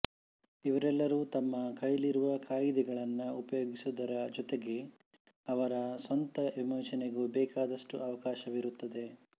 ಇವರೆಲ್ಲರೂ ತಮ್ಮ ಕೈಲಿರುವ ಕಾಯಿದೆಗಳನ್ನು ಉಪಯೋಗಿಸುವುದರ ಜೊತೆಗೆ ಅವರ ಸ್ವಂತ ವಿವೇಚನೆಗೂ ಬೇಕಾದಷ್ಟು ಅವಕಾಶವಿರುತ್ತದೆ